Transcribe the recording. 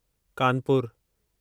कानपुरु